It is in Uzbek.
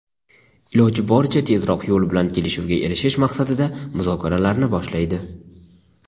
iloji boricha tezroq tinch yo‘l bilan kelishuvga erishish maqsadida muzokaralarni boshlaydi;.